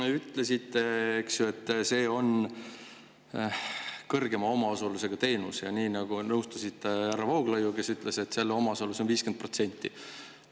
Te ütlesite, et see on suurema omaosalusega teenus, ja nõustusite härra Vooglaiuga, kes ütles, et selle omaosalus on 50%.